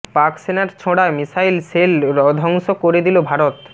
পাক সেনার ছোঁড়া মিসাইল সেল রধ্বংস করে দিল ভারত